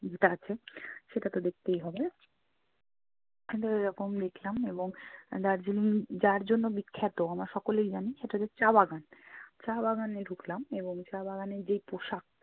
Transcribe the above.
যেটা আছে সেটা তো দেখতেই হবে। তো এরকম দেখলাম এবং দার্জিলিং যার জন্য বিখ্যাত আমরা সকলেই জানি সেটা হচ্ছে চা বাগান। চা বাগানে ঢুকলাম এবং চা বাগানের যেই পোশাক